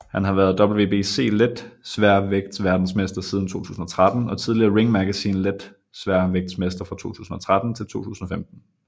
Han har vært WBC letsværvægtverdensmester siden 2013 og tidligere Ring Magazine letsværvægtsmester fra 2013 til 2015